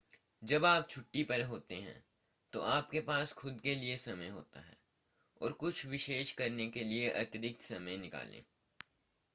जब आप छुट्टी पर होते हैं तो आपके पास खुद के लिए समय होता है और कुछ विशेष करने के लिए अतिरिक्त समय निकालें